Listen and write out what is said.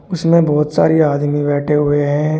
उसमें बहुत सारी आदमी बैठे हैं।